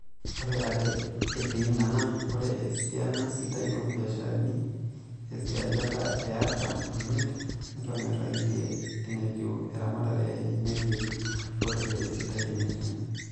Oree ake etii nena, ore esiana sidai oobiasharani, esiajata e aarrtam omiet, netonyoraitia enetiu eramatare enye, etii lootejo esidai enetii.